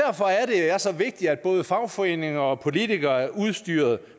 er så vigtigt at både fagforeninger og politikere er udstyret